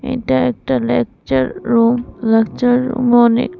এটা একটা lecture room lecture অনেক--